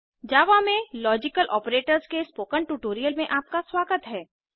जावा में logical operators के spoken tutorial में आपका स्वागत है